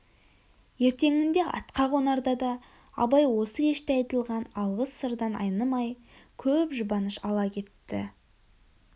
ертеңінде атқа қонарда да абай осы кеште айтылған алғыс сырдан айнымай көп жүбаныш ала кетті